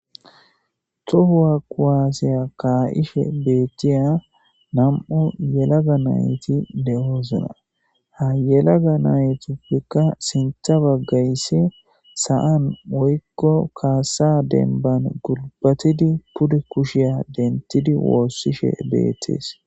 Tohuwa kuwaaseya kaayishe beethtiya nam7u yelaga nayti de7oosna ha yelaga naytuppekka sintha baggaysse sa7an oykko kaasa denban gulbatidi pude kushiya dentidi woossishe beettees.